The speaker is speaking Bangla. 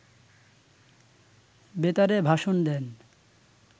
বেতারে ভাষণ দেন